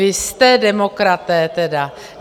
Vy jste demokraté tedy!